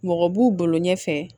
Mɔgɔ b'u bolo ɲɛfɛ